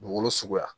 Dugukolo suguya